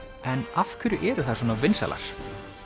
en af hverju eru þær svona vinsælar